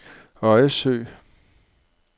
Øjesø